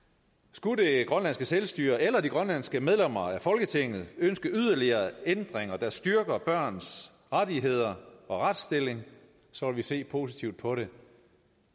skulle det grønlandske selvstyre eller de grønlandske medlemmer af folketinget ønske yderligere ændringer der styrker børns rettigheder og retsstilling så vil vi se positivt på det